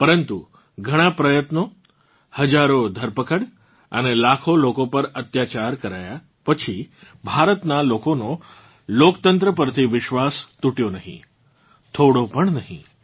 પરંતુ ઘણાં પ્રયત્નો હજારો ધરપકડ અને લાખો લોકો પર અત્યાચાર કરાયા પછી ભારતનાં લોકોનો લોકતંત્ર પરથી વિશ્વાસ તૂટ્યો નહીં થોડો પણ નહીં